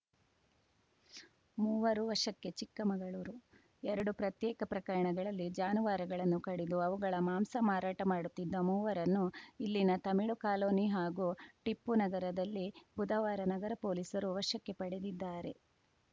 ಮೂವರು ವಶಕ್ಕೆ ಚಿಕ್ಕಮಗಳೂರು ಎರಡು ಪ್ರತ್ಯೇಕ ಪ್ರಕರಣಗಳಲ್ಲಿ ಜಾನುವಾರುಗಳನ್ನು ಕಡಿದು ಅವುಗಳ ಮಾಂಸ ಮಾರಾಟ ಮಾಡುತ್ತಿದ್ದ ಮೂವರನ್ನು ಇಲ್ಲಿನ ತಮಿಳು ಕಾಲೋನಿ ಹಾಗೂ ಟಿಪ್ಪು ನಗರದಲ್ಲಿ ಬುಧವಾರ ನಗರ ಪೊಲೀಸರು ವಶಕ್ಕೆ ಪಡೆದಿದ್ದಾರೆ